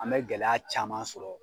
An bɛ gɛlɛya caman sɔrɔ.